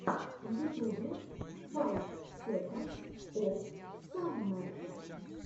в ютубе файв секондс оф саммер